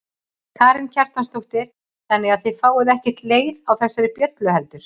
Karen Kjartansdóttir: Þannig að þið fáið ekkert leið á þessari bjöllu heldur?